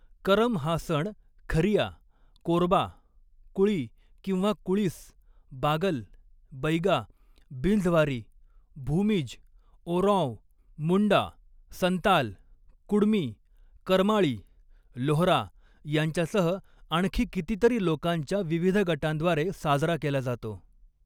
करम हा सण खरिया, कोरबा, कुळी किंवा कुळीस, बागल, बैगा, बिंझवारी, भूमिज, ओराँव, मुंडा, संताल, कुडमी, करमाळी, लोहरा यांच्यासह आणखी कितीतरी लोकांच्या विविध गटांद्वारे साजरा केला जातो.